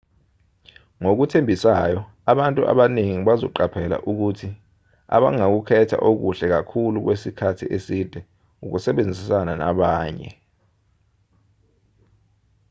ngokuthembisayo abantu abaningi bazoqaphela ukuthi abangakukhetha okuhle kakhulu kwesikhathi eside ukusebenzisana nabanye